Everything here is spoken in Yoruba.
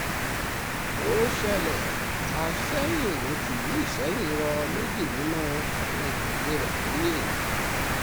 ó ṣẹlẹ̀ àsẹ̀yìn tìlú isẹ́yìn rọ méjì nínú àwọn ìjòyè rẹ̀ lóye